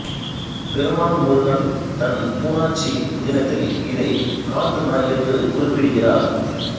பெருமாள் முருகன் தன் பூனாச்சி புதினத்தில் இதை காட்டு நாய் என்று குறிப்பிடுகிறார்